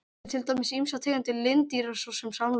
Þetta eru til dæmis ýmsar tegundir lindýra svo sem samlokur.